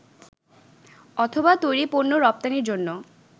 অথবা তৈরি পণ্য রপ্তানির জন্য